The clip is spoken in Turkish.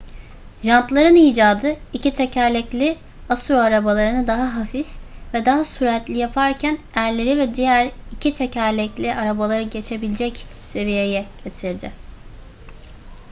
jantların icadı iki tekerlekli asur arabalarını daha hafif ve daha süratli yaparken erleri ve diğer iki tekerlekli arabaları geçebilecek seviyeye getirdi